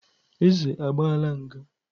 Eze agbaala nga.